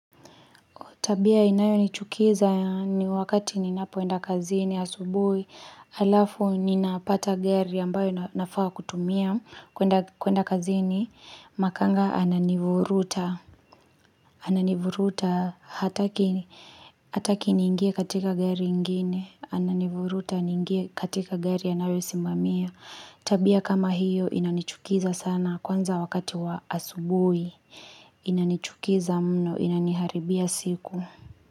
Tabia inayo nichukiza ni wakati ninapoenda kazini ya asubuhi Alafu ninapata gari ambayo nafaa kutumia kwenda kazini Makanga ananivuruta hataki ningie katika gari ingine ananivuruta niingie katika gari anayo simamia Tabia kama hiyo inanichukiza sana kwanza wakati wa asubuhi Inanichukiza mno inaniharibia siku.